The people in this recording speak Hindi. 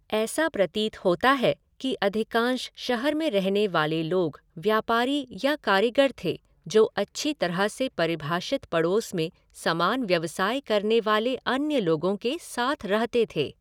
ऐसा प्रतीत होता है कि अधिकांश शहर में रहने वाले लोग व्यापारी या कारीग़र थे जो अच्छी तरह से परिभाषित पड़ोस में समान व्यवसाय करने वाले अन्य लोगों के साथ रहते थे।